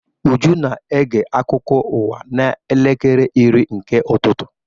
Uju na-ege akụkọ ụwa n'elekere iri nke ụtụtụ.